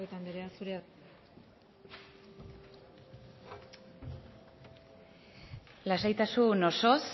etxebarrieta anderea zurea da hitza lasaitasun osoz